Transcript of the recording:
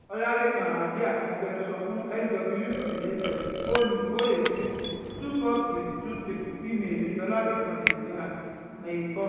ọ̀làlẹ́kan àjíá agbẹnusọ fún swcsf fóònù eight biti twenty four thousand three hundred twenty three ìmẹ́ẹ́lì ọlálẹ́kàn@gamailcom